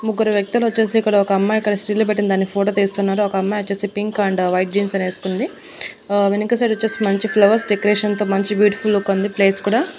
ముగ్గురు వ్యక్తులొచ్చేసి ఇక్కడ ఒక అమ్మాయి ఇక్కడ స్టిల్ లు పెట్టింది. దాని ఫోటో తీస్తున్నారు ఒక అమ్మాయోచ్చేసి పింక్ అండ్ వైట్ జీన్స్ అని వేసుకుంది ఆ వెనక సైడ్ వచ్చేసి మంచి ఫ్లవర్స్ డెకరేషన్ తో మంచి బ్యూటిఫుల్ లుక్ ఉంది ప్లేస్ కూడా.